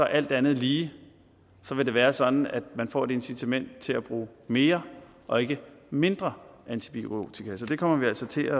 alt andet lige være sådan at man får et incitament til at bruge mere og ikke mindre antibiotika så det kommer vi altså til